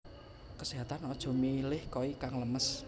Keséhatan aja milih koi kang lemes